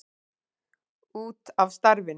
Út af starfinu.